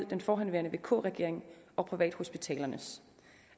den forhenværende vk regering og privathospitalerne